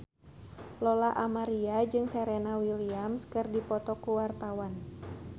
Lola Amaria jeung Serena Williams keur dipoto ku wartawan